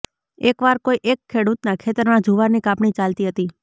એકવાર કોઇ એક ખેડૂતના ખેતરમાં જુવારની કાપણી ચાલતી હતી